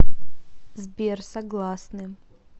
сбер согласны